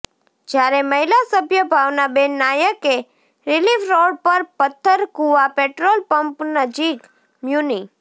જ્યારે મહિલા સભ્ય ભાવનાબેન નાયકે રીલિફ રોડ પર પથ્થરકૂવા પેટ્રોલપંપ નજીક મ્યુનિ